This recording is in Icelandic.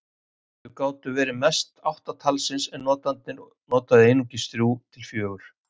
Þau gátu mest verið átta talsins en notandinn notaði einungis þrjú til fjögur.